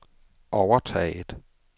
overtaget